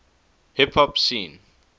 hip hop scene